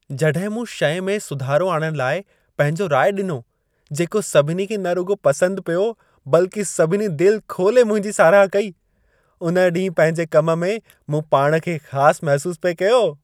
जॾहिं मूं शइ में सुधारो आणण लाइ पंहिंजो रायो ॾिनो, जेको सभिनी खे न रुॻो पसंदि पियो, बल्कि सभिनी दिलि खोले मुंहिंजी साराह कई। उन्हे ॾींहुं पंहिंजे कम में, मूं पाण खे ख़ासि महसूसु पिए कयो।